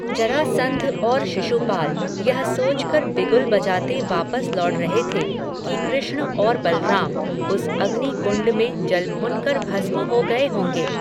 जरासन्ध और शिशुपाल, यह सोच कर बिगुल बजाते वापस लौट रहे थे, कि कृष्ण और बलराम, उस अग्नि कुण्ड में जलभुन कर भस्म हो गये होंगे